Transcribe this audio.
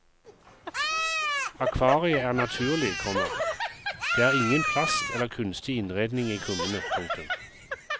Akvariet er naturlig, komma det er ingen plast eller kunstig innredning i kummene. punktum